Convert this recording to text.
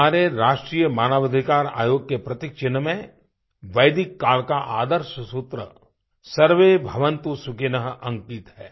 हमारे राष्ट्रीय मानव अधिकार आयोग के प्रतीक चिन्ह में वैदिक काल का आदर्श सूत्र सर्वे भवन्तु सुखिनः अंकित है